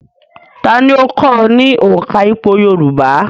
Ta ni ó kọ́ ọ ní òǹkà ìpò yorùbá?